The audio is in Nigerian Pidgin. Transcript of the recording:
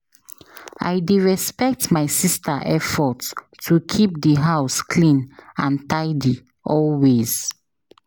I dey respect my sister effort to keep the house clean and tidy always.